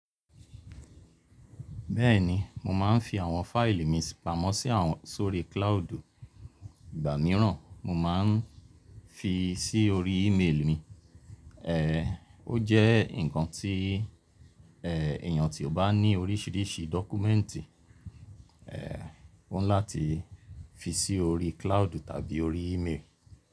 Bẹ́ẹ̀ni, mo máa ń fi àwọn fáìlì mi pamọ́ sí àwọn, sórí claodu. Ìgbà mìíràn mo máa ń fi sí orí email mi. Ó jẹ́ nǹkan tí èèyàn tí ó bá ní oríṣiríṣi dọ́kúmẹ́ǹtì oni láti fi sí orí claodu tàbí orí email.